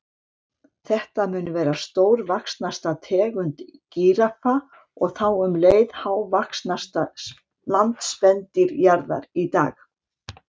Þetta mun vera stórvaxnasta tegund gíraffa og þá um leið hávaxnasta landspendýr jarðar í dag.